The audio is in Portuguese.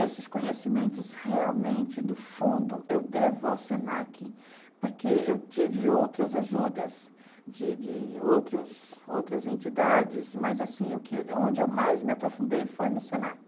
Esses conhecimentos, realmente, no fundo, eu devo ao Senac, porque eu tive outras ajudas de de outros outras entidades, mas, assim, o que onde eu mais me aprofundei foi no Senac.